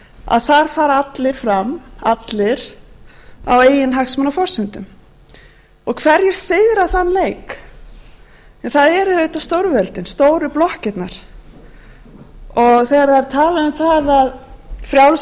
að þar fara allir fram allir á eiginhagsmunaforsendum og hverjir sigra í þeim leik það eru auðvitað stórveldin stór blokkirnar og þegar er talað um það að frjáls